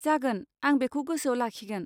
जागोन। आं बेखौ गोसोआव लाखिगोन।